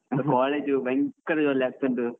College ಭಯಂಕರ ಒಲ್ಲೆ ಆಗ್ತಾ ಉಂಟು.